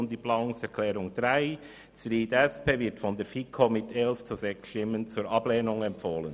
Die Planungserklärung 3 wird von der FiKo mit 11 zu 6 Stimmen zur Ablehnung empfohlen.